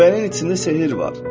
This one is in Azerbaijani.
Güvənin içində sehir var.